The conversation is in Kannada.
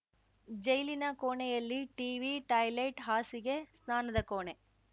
ಜೈಲಿನ ಕೋಣೆಯಲ್ಲಿ ಟೀವಿ ಟಾಯ್ಲೆಟ್‌ ಹಾಸಿಗೆ ಸ್ನಾನದ ಕೋಣೆ